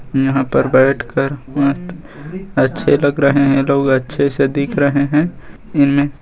यहाँ पर बैठकर बहुत अच्छे लग रहे हैं लोग अच्छे से दिख रहे हैं।